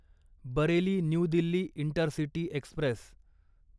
Bareilly New Delhi intercity Express